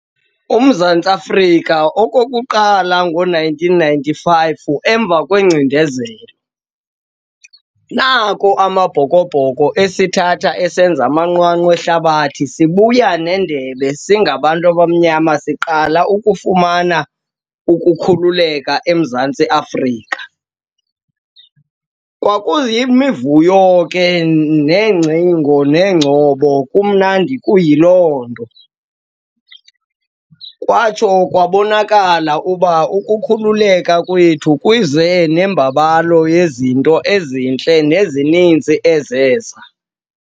UMzantsi Afrika okokuqala ngo-nineteen ninety-five emva kwengcindezelo, nako Amabhokobhoko esithatha esenza amanqwanqwa ehlabathi sibuya nendebe, singabantu abamnyama siqala ukufumana ukukhululeka eMzantsi Afrika. Kwakuyimivuyo ke neengcingo neengcobo, kumnandi kuyiloo nto. Kwatsho kwabonakala uba ukukhululeka kwethu kuze nembabalo yezinto ezintle nezininzi ezeza.